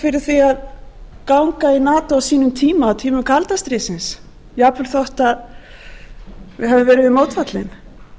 að ganga í nato á sínum tíma á tímum kalda stríðsins jafnvel þótt við höfum verið því mótfallin